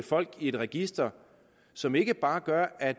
folk i et register som ikke bare gør at